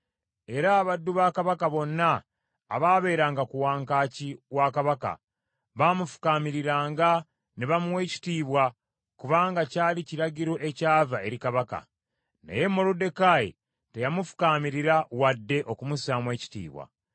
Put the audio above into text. Era abaddu ba Kabaka bonna abaabeeranga ku wankaaki wa Kabaka baamufukaamiriranga ne bamuwa ekitiibwa, kubanga kyali kiragiro ekyava eri Kabaka. Naye Moluddekaayi teyamufukaamirira wadde okumussaamu ekitiibwa.